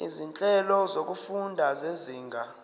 izinhlelo zokufunda zezinga